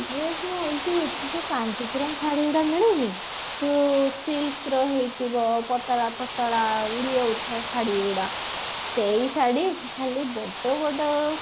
ଏ ସେ ଯୋଉ ଏମତି ଏଠି ଯୋଉ କାଞ୍ଜିବରମ ଶାଢୀ ଗୁଡା ମିଳୁନି ସେ silk ର ହେଇଥିବ ପତଳା ପତଳା ଉଡି ଯାଉଥିବ ଶାଢୀ ଗୁଡା ସେଇ ଶାଢୀ ଖାଲି ବଡ ବଡ